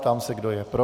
Ptám se, kdo je pro.